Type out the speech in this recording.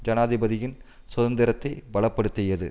ஜனாதிபதியின் சுதந்திரத்தை பல படுத்தியது